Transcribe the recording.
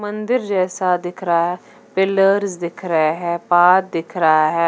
मंदिर जैसा दिख रहा है पिलर्स दिख रहे है पाथ दिख रहा है।